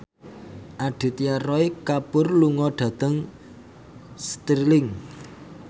Aditya Roy Kapoor lunga dhateng Stirling